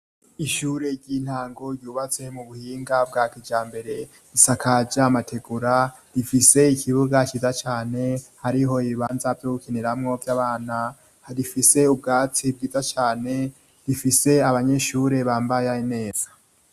Ishure ry'intango ryubatse mu buhinga bwa kijambere, isakaje amategura, rifise ikibuga ciza cane, hariho ibibanza vyo gukiniramwo vy'abana, rifise ubwatsi bwiza cane, rifise abanyeshure bambaye neza.